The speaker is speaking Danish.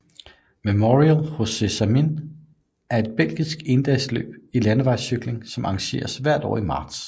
Memorial José Samyn er et belgisk endagsløb i landevejscykling som arrangeres hvert år i marts